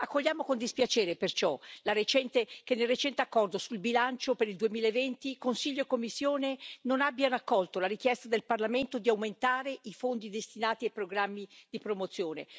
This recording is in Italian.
Accogliamo con dispiacere, perciò, che nel recente accordo sul bilancio per il 2020 Consiglio e Commissione non abbiano accolto la richiesta del Parlamento di aumentare i fondi destinati ai programmi di promozione.